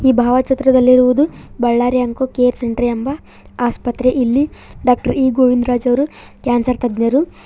ಈ ಭಾವಚಿತ್ರದಲ್ಲಿರುವುದು Ballari onco care centre ಎಂಬ ಆಸ್ಪತ್ರೆ ಇಲ್ಲಿ ಡಾಕ್ಟರ್ ಈ ಗೋವಿಂದರಾಜ್ ಅವರು ಕ್ಯಾನ್ಸರ್ ತಜ್ಞರು.